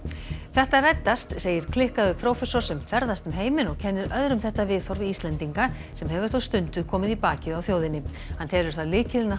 þetta reddast segir klikkaður prófessor sem ferðast um heiminn og kennir öðrum þetta viðhorf Íslendinga sem hefur þó stundum komið í bakið á þjóðinni hann telur það lykilinn að